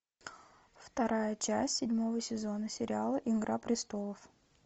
вторая часть седьмого сезона сериала игра престолов